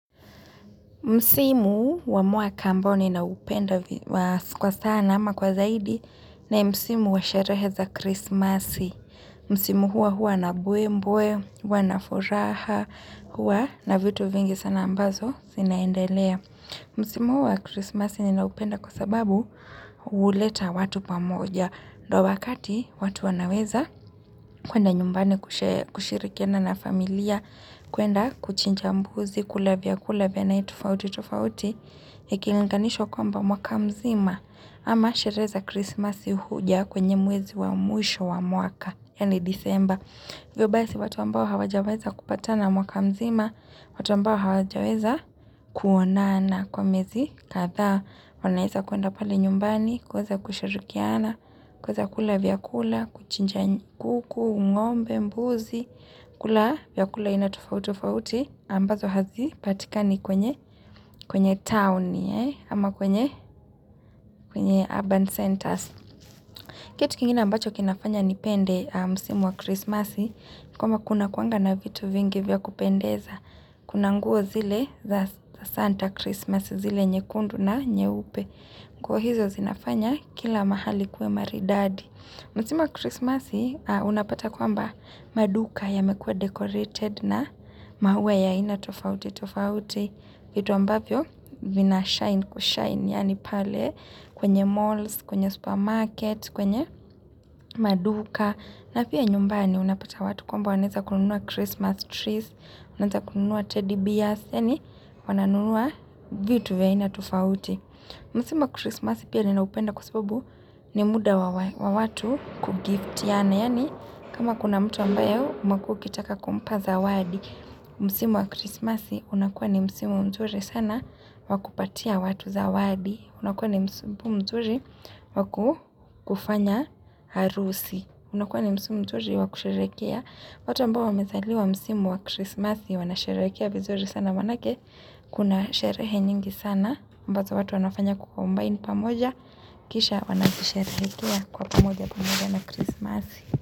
Msimu wa mwaka ambao nina upenda kwa sana ama kwa zaidi na Msimu wa sherehe za Krismasi. Msimu hua hua na mbwe mbwe, hua na furaha, hua na vitu vingi sana ambazo zina endelea. Msimu wa Krismasi nina upenda kwa sababu huleta watu pamoja. Ndio wakati watu wanaweza kuenda nyumbani kushirikiana na familia, kuenda kuchinja mbuzi, kula vyakula vya aina tofauti tofauti, iki linginishwa kwamba mwaka mzima ama sherehe krismasi huja kwenye mwezi wa mwisho wa mwaka, yani December. Hivyo basi watu ambao hawajaweza kupata na mwaka mzima, watu ambao hawajaweza kuonana kwa miezi kadhaa, wanaweza kuenda pale nyumbani, kuweza kushirikiana, kuweza kula vyakula, kuchinja kuku, ngombe, mbuzi, kula vyakula iana tofauti tofauti ambazo hazi patikani kwenye kwenye town, ama kwenye urban centers. Kitu kingina ambacho kina fanya nipende msimu wa krismasi, kwamba kuna kuanga na vitu vingi vya kupendeza, kunanguo zile za santa krismasi zile nyekundu na nyewupe, kwa hizo zinafanya kila mahali kuwe maridadi. Msimu Christmasi, unapata kwamba maduka yamekua decorated na mawe ya ina tofauti, tofauti, vitu ambavyo vina shine kushine, yani pale kwenye malls, kwenye supermarket, kwenye maduka, na pia nyumbani unapata watu kwamba wanaweza kununua Christmas trees, wanaanza kununua teddy bears, yani, wananunua vitu vya aina tofauti. Musimu wa krismasi pia ninaupenda kwa babu ni muda wa watu kugift. Yani kama kuna mtu ambayo umekuwa ukitaka kumpa zawadi. Msimu wa krismasi unakuwa ni musimu mturi sana waku patia watu zawadi. Unakuwa ni musimu mzuri wakufanya arusi. Unakuwa ni musimu mzuri wakusherehekea. Watu ambao wame zaliwa msimu wa krismasi wana sherehekea vizuri sana manake kuna sherehe nyingi sana. Ambazo watu wanafanya ku combine pamoja Kisha wana zi sharehekea kwa pamoja pamoja na krismasi.